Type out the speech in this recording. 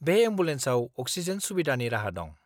बे एम्बुलेन्सआव अक्सिजेन सुबिदानि राहा दं।